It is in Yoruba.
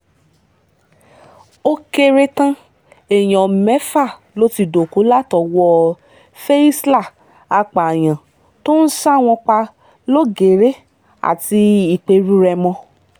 ó kéré tán èèyàn mẹ́fà ló ti dọ́kú látọwọ́ fey isla àpààyàn tó ń sá wọn pa lọ́gẹ́rẹ́ àti ìperú-rèmọ